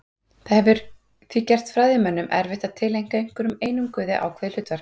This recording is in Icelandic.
Það hefur því gert fræðimönnum erfitt að tileinka einhverjum einum guði ákveðið hlutverk.